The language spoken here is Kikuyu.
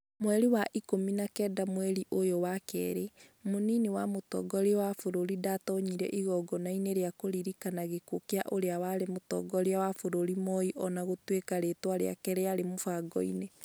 Mweri wa ikũmi na kenda mweri ũyũ wa kerĩ, mũnini wa mũtongoria wa bũrũri ndĩatonyire igongonainĩ rĩa kũririkana gĩkuũ kĩa ũrĩa warĩ Mũtongoria wa bũrũri Moi o na gũtuĩka rĩĩtwa rĩake rĩarĩ mũbango-inĩ.